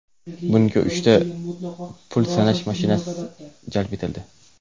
Bunga uchta pul sanash mashinasi jalb etildi.